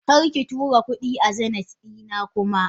Karki tura kudi a Zeneth dina kuma.!